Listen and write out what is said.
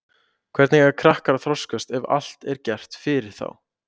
Hvernig eiga krakkar að þroskast ef allt er gert fyrir þá?